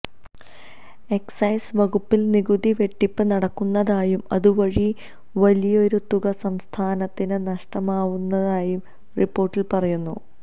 excise വകുപ്പില് നികുതി വെട്ടിപ്പ് നടക്കുന്നതായും അതുവഴി വലിയൊരു തുക സംസ്ഥാനത്തിന് നഷ്ടമാവുന്നതായും റിപ്പോര്ട്ടില് പറയുന്നു